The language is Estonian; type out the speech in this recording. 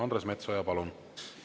Andres Metsoja, palun!